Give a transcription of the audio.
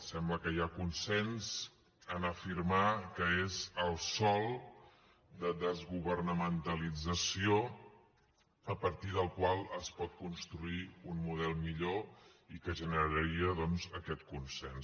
sembla que hi ha consens a afirmar que és el sòl de desgovernamentalització a partir del qual es pot construir un model millor i que generaria doncs aquest consens